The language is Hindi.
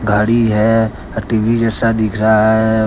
साड़ी हैं अ टी_वी जैसा दिख रहा है।